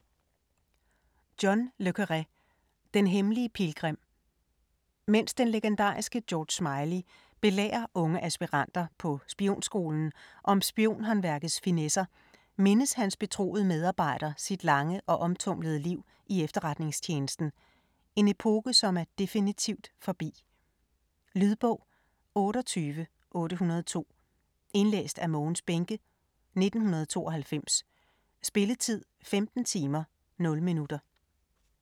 Le Carré, John: Den hemmelige pilgrim Mens den legendariske George Smiley belærer unge aspiranter på spionskolen om spionhåndværkets finesser, mindes hans betroede medarbejder sit lange og omtumlede liv i efterretningstjenesten - en epoke som er definitivt forbi. Lydbog 28802 Indlæst af Mogens Bähncke, 1992. Spilletid: 15 timer, 0 minutter.